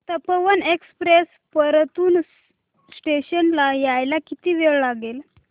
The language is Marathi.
तपोवन एक्सप्रेस परतूर स्टेशन ला यायला किती वेळ लागेल